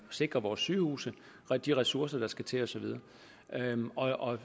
sikre vores sygehuse og de ressourcer der skal til og så videre